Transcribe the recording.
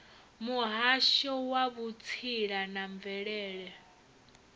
muhasho wa vhutsila na mvelele